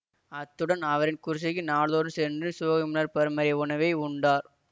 அத்துடன் அவரின் குடிசைக்கு நாள்தோறும் சென்று சோகமர் பருமறை உணவை உண்டார்